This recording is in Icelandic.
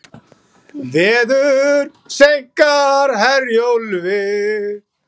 Veður seinkar Herjólfi